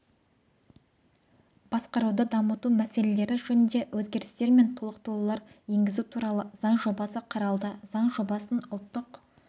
басқаруды дамыту мәселелері жөнінде өзгерістер мен толықтырулар енгізу туралы заң жобасы қаралды заң жобасын ұлттық